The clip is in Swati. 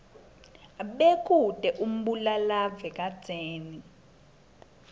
bekute umbulalave kadzeni